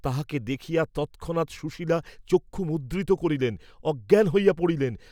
তাঁহাকে দেখিয়া তৎক্ষণাৎ সুশীলা চক্ষু মুদ্রিত করিলেন, অজ্ঞান হইয়া পড়িলেন।